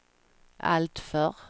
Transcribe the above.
alltför